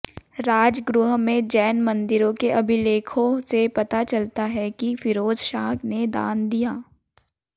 राजगृह में जैन मन्दिरों के अभिलेखों से पता चलता है कि फिरोजशाह ने दान दिया